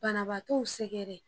Banabagatɔw sɛgɛrɛ